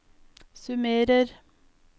summerer